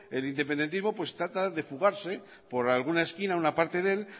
el independentismo trata de fugarse por alguna esquina una parte de él